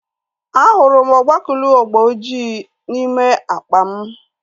A hụrụ m ogbakuluu agba ojii n'ime akpa m